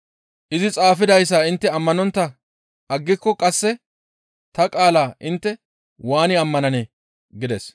Izi xaafidayssa intte ammanontta aggiko qasse ta qaala intte waani ammananee?» gides.